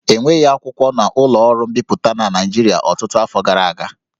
E nweghị akwụkwọ na ụlọ ọrụ mbipụta na Naịjirịa ọtụtụ afọ gara aga